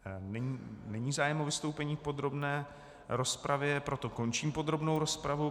Není zájem o vystoupení v podrobné rozpravě, proto končím podrobnou rozpravu.